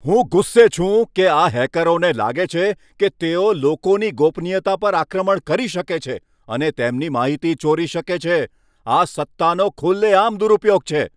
હું ગુસ્સે છું કે આ હેકરોને લાગે છે કે તેઓ લોકોની ગોપનીયતા પર આક્રમણ કરી શકે છે અને તેમની માહિતી ચોરી શકે છે. આ સત્તાનો ખુલ્લેઆમ દુરુપયોગ છે.